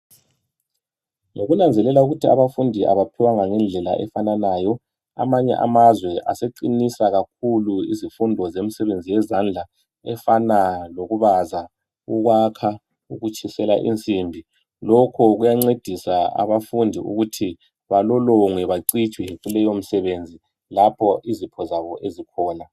Ngokunanzelela ukuba abafundi abaphiwanga okufanayo amanye amazwe zemisebenzi aseqinisa kakhulu izifundo zemisebenzi yezandla efana lokubaza ukuyakha lokutshiswa kwensimbi lokhu kuyancedisa abafundi ukuthi valolongwe bacijiswe kuleyo msebenzi lapho izipho zabo ezikhona